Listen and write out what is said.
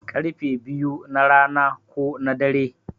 Karfe biyu na rana ko na dare